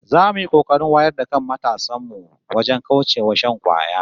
Za mu yi kokarin wayar da kan matasan mu wajen kauce wa shan kwaya